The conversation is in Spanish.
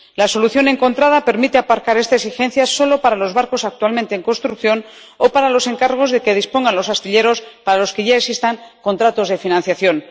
La solución encontrada permite aparcar esta exigencia solo para los barcos actualmente en construcción o para los encargos de que dispongan los astilleros, para los que ya existan contratos de financiación.